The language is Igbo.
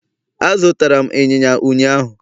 Azụtara m Ịnyịnya ụnyahụ